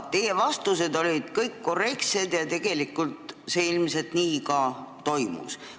Teie vastused olid kõik korrektsed ja tegelikult see kõik ilmselt nii ka toimus.